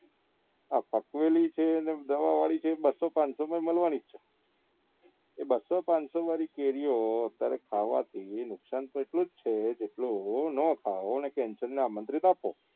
આ પકવેલી છે ને દવા વાળી છે એ બસ્સો પાંચસો માં મળવા ની જ છે એ બસ્સો પાંચસો વાળી કેરીઓ ખાવા થી નુકસાન તકલીફ છે એટલે ખાઓ ને ને આમંત્રિત આપો